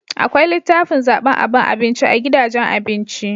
Akwai litafin zaban aban abinci a gidajen abinci